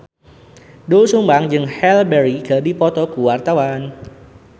Doel Sumbang jeung Halle Berry keur dipoto ku wartawan